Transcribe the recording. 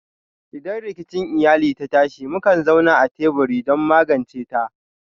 Idan rikici iyali ta tashi, mukan zauna a teburi don magance ta.